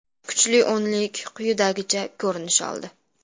Kuchli o‘nlik quyidagicha ko‘rinish oldi: !